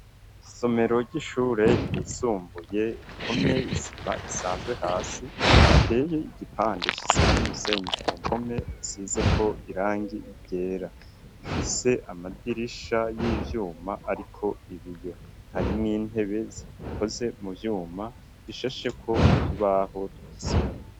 Isomero ry'ishure yisumbuye rihomye isima isanzwe hasi riteye igipande c'isima n'umusenyi ku mpome hasizeko irangi ryera ifise amadirisha y'ivyuma ariko ibiyo harimwo intebe zikozwe mu vyuma rishasheko utubaho twikizungu.